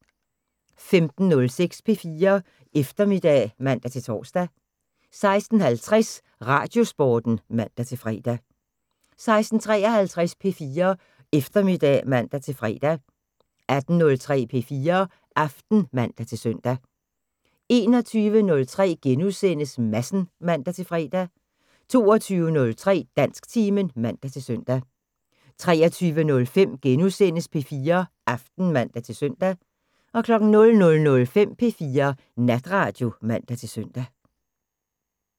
15:06: P4 Eftermiddag (man-tor) 16:50: Radiosporten (man-fre) 16:53: P4 Eftermiddag (man-fre) 18:03: P4 Aften (man-søn) 21:03: Madsen *(man-fre) 22:03: Dansktimen (man-søn) 23:05: P4 Aften *(man-søn) 00:05: P4 Natradio (man-søn)